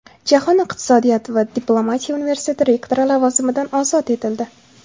Jahon iqtisodiyoti va diplomatiya universiteti rektori lavozimidan ozod etildi.